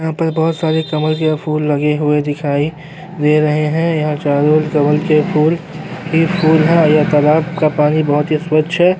यहां पर बहौत सारे कमल के फूल लगे हुए दिखाई दे रहे हैं यहां चारों ओर कमल के फूल ही फूल हैं और यहाँ तालाब का पानी बहुत ही स्वच्छ है।